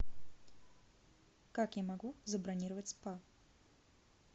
как я могу забронировать спа